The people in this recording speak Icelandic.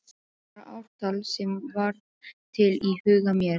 Bara ártal sem varð til í huga mér.